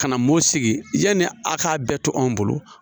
Ka na mosigi yani a k'a bɛɛ to anw bolo